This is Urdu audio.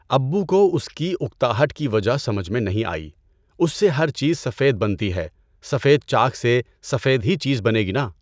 ابّو کو اس کی اکتاہٹ کی وجہ سمجھ میں نہیں آئی۔ اس سے ہر چیز سفید بنتی ہے۔ سفید چاک سے سفید ہی چیز بنے گی نا!